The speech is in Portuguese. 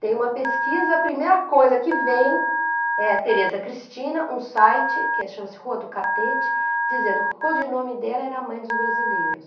Tem uma pesquisa, a primeira coisa que vem é a Tereza Cristina, um site que chama-se Rua do Catete, dizendo que o codinome dela era a mãe dos brasileiros.